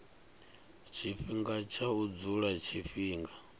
tshifhinga tsha u dzula tshifhinga